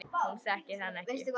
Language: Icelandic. Hún þekkir hann ekki.